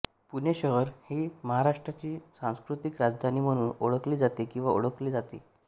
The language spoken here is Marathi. पुणे शहर ही महाराष्ट्राचीसांस्कृतिक राजधानी म्हणून ओळखली जाते किंवा ओळखले जाते